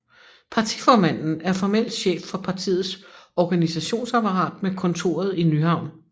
Partiformanden er formelt chef for partiets organisationsapparat med kontoret i Nyhavn